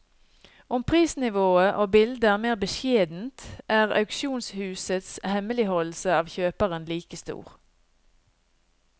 Om prisnivået og bildet er mer beskjedent, er auksjonshusets hemmeligholdelse av kjøperen like stor.